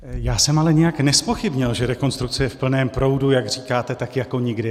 Já jsem ale nijak nezpochybnil, že rekonstrukce je v plném proudu, jak říkáte, tak jako nikdy.